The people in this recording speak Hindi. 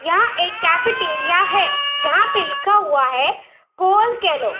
यहाँ एक कैफ़ेटेरिया है। जहाँ पे लिखा हुआ है। कोल कैलो --